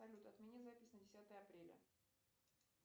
салют отмени запись на десятое апреля